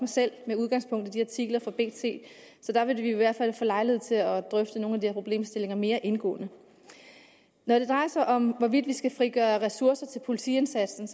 selv med udgangspunkt i de artikler fra bt så der vil vi i hvert fald få lejlighed til at drøfte nogle af de her problemstillinger mere indgående når det drejer sig om hvorvidt vi skal frigøre ressourcer til politiindsatsen